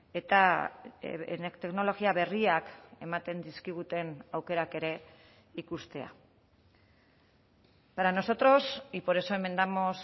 eta teknologia berriak ematen dizkiguten aukerak ere ikustea para nosotros y por eso enmendamos